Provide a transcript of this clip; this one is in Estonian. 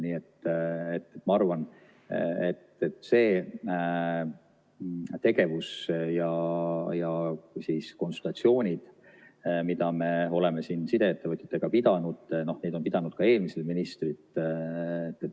Nii et ma arvan, et need konsultatsioonid, mida me oleme sideettevõtjatega pidanud, neid on pidanud ka eelmised ministrid.